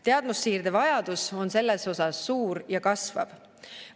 Teadmussiirde vajadus on selles osas suur ja kasvav.